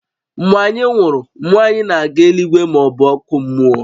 Mgbe anyị nwụrụ, mmụọ anyị na-aga eluigwe maọbụ ọkụ mmụọ